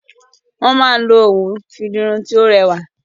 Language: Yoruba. Wọn ti máa n lo òwu fi di irun to rẹwà.